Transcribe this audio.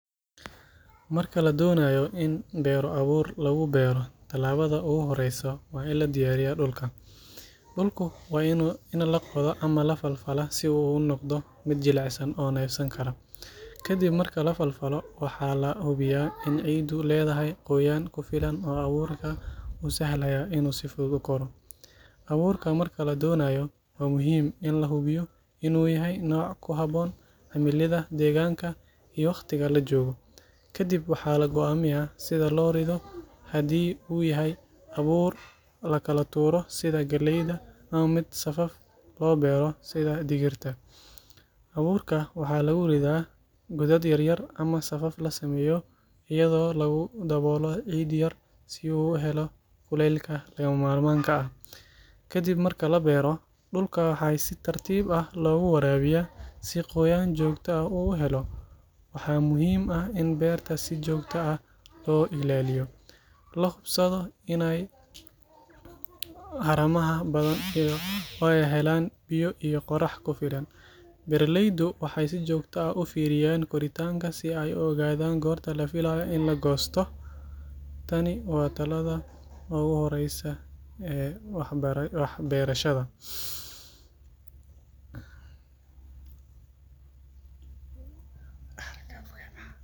Marka la doonayo in beero abuur lagu beero, talaabada ugu horreysa waa in la diyaariyo dhulka. Dhulku waa in la qoda ama la falfalaa si uu u noqdo mid jilicsan oo neefsan kara. Kadib marka la falfalo, waxaa la hubiyaa in ciiddu leedahay qoyaan ku filan oo abuurka u sahlaya inuu si fudud u koro. Abuurka marka la dooranayo, waa muhiim in la hubiyo inuu yahay nooc ku habboon cimilada deegaanka iyo waqtiga la joogo. Kadib waxaa la go’aamiyaa sida loo rido; haddii uu yahay abuur la kala tuuro sida galleyda, ama mid safaf loo beero sida digirta. Abuurka waxaa lagu ridaa godad yaryar ama safaf la sameeyo iyadoo lagu daboolo ciid yar si uu u helo kulaylka lagama maarmaanka ah. Kadib marka la beero, dhulka waxaa si tartiib ah loogu waraabiyaa si qoyaan joogto ah uu u helo. Waxaa muhiim ah in beerta si joogto ah loo ilaaliyo, la hubsado inaanay haramaha badanin oo ay helaan biyo iyo qorrax ku filan. Beeraleydu waxay si joogto ah u fiiriyaan koritaanka si ay u ogaadaan goorta la filayo in la goosto. Tani waa tallaabada hore ee wax beera.